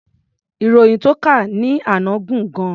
Ìròyìn tó kà ní àná gùn gan-an.